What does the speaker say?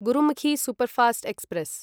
Gurmukhi superfast express